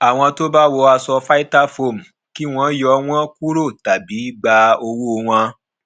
àwọn tó bá wọ aṣọ vitafoam kí wọn yọ wọn kúrò tàbí gba owó wọn